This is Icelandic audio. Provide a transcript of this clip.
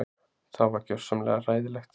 Það var gjörsamlega hræðilegt